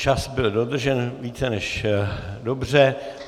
Čas byl dodržen více než dobře.